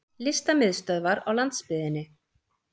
Listamiðstöðvar á landsbyggðinni!